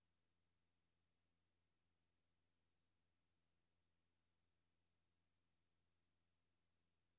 Uden sammenligning i øvrigt kan hunde være mindst lige så rædselsslagne som mennesker for i øvrigt ufarlige situationer.